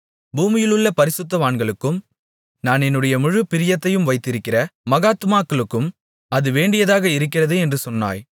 பூமியிலுள்ள பரிசுத்தவான்களுக்கும் நான் என்னுடைய முழுப் பிரியத்தையும் வைத்திருக்கிற மகாத்துமாக்களுக்கும் அது வேண்டியதாக இருக்கிறது என்று சொன்னாய்